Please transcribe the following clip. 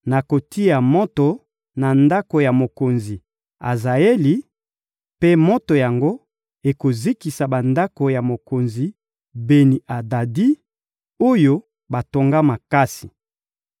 Nakotia moto na ndako ya mokonzi Azaeli, mpe moto yango ekozikisa bandako ya mokonzi Beni-Adadi, oyo batonga makasi.